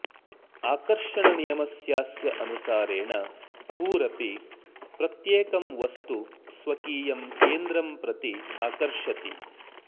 आकर्षणनियमस्यास्य अनुसारेण भूरपि प्रत्येकं वस्तु स्वकीयं केन्द्रं प्रति आकर्षति